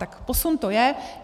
Tak posun to je.